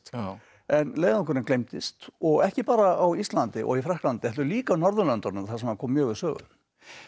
en leiðangurinn gleymdist og ekki bara á Íslandi og í Frakklandi heldur líka á Norðurlöndunum þar sem hann kom mjög við sögu þetta